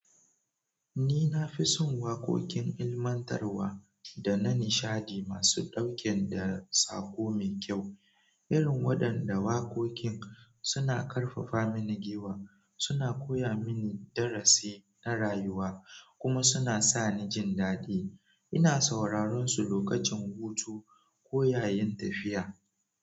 Ni na fi son waƙoƙin ilmantarwa da na nishadi masu ɗauke da saƙo mai kyau. Irin waɗanda waƙoƙin suna ƙarfafa mini giwa, suna koya mini darasi na rayuwa kuma suna sa ni jin daɗi. Ina sauraron su lokacin hutu ko yayin tafiya.